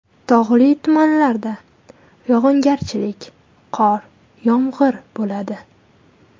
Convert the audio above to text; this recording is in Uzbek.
Tog‘li tumanlarda yog‘ingarchilik (qor, yomg‘ir) bo‘ladi.